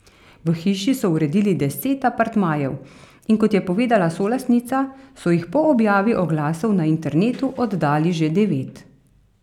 V hiši so uredili deset apartmajev, in kot je povedala solastnica, so jih po objavi oglasov na internetu oddali že devet.